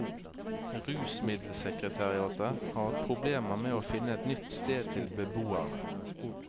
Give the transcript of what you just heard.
Rusmiddelsekretariatet har hatt problemer med å finne et nytt sted til beboerne.